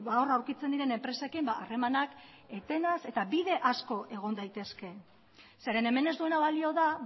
hor aurkitzen diren enpresekin harremanak etenaz eta bide asko egon daitezke zeren hemen ez duena balio da